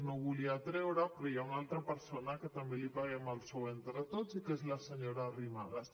no ho volia treure però hi ha una altra persona a qui també li paguem el sou entre tots i que és la senyora arrimadas